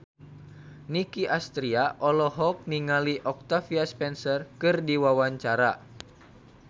Nicky Astria olohok ningali Octavia Spencer keur diwawancara